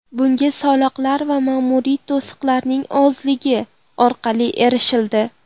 Bunga soliqlar va ma’muriy to‘siqlarning ozligi orqali erishildi.